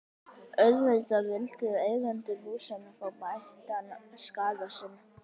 Auðvitað vildu eigendur húsanna fá bættan skaða sinn.